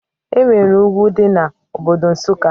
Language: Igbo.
Enwere ugwu dị na Obodo Nsụka